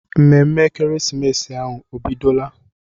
Ememme ekeresimesi ahụ o bidola?